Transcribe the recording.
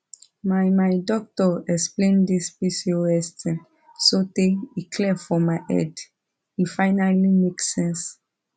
my my doctor explain this pcos thing sotay e clear for my head e finally make sense